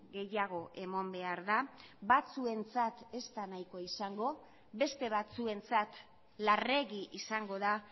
gehiago eman behar da batzuentzat ez da nahikoa izango beste batzuentzat larregi izango da